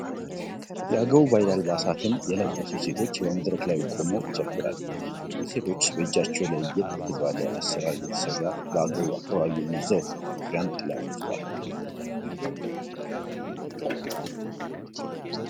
የአገው ባህል አልባሳትን የለበሱ ሴቶች በመድረክ ላይ ቆመው ይጨፍራሉ። እነዚህ ሴቶች በእጃቸው ለየት ባለ አሰራር የተሰራ በአገው አካባቢ የሚዘወተር ዣንጥላን ይዘዋል።